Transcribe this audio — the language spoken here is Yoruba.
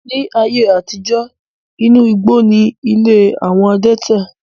Ní ayé àtijó, inú igbó ni ilé àwọn adẹ́tẹ̀.